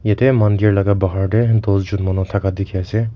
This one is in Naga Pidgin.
ete mandir laga bahar te dosjon manu thaka dikhi ase.